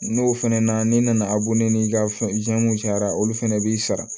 N'o fɛnɛ na n'i nana n'i ka fɛnw cayara olu fana b'i sara